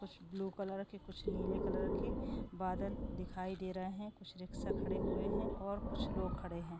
कुछ blue colour के कुछ निले कलर के बादल दिखाई दे रहे है कुछ रिक्षा खड़े हुए है और कुछ लोग खड़े है।